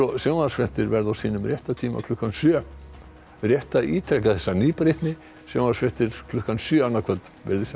sjónvarpsfréttir verða á réttum tíma klukkan sjö rétt að ítreka þessa nýbreytni sjónvarpsfréttir klukkan sjö annað kvöld veriði sæl